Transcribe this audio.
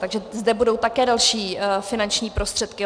Takže zde budou také další finanční prostředky.